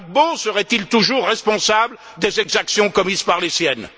Gbagbo serait toujours responsable des exactions commises par les siennes!